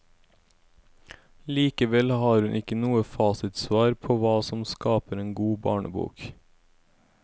Likevel har hun ikke noe fasitsvar på hva som skaper en god barnebok.